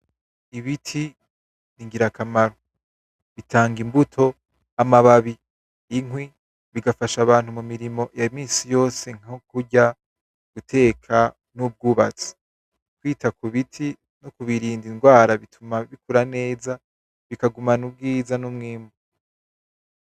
Ibiti ni ngirakamaro bitang' imbuto; amababi; inkwi, bigafasha abantu mu mirimo ya misi yose nko kurya; guteka; n'ubwubatsi. Kwita ku biti no kubirinda ingwara bituma bikura neza; bikagumana ubwiza; n'umwimbu.